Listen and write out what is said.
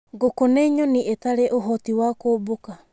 Ngũkũ nĩ nyoni ĩtarĩ ũhoti wa kũmbũka.